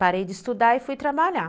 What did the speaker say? Parei de estudar e fui trabalhar.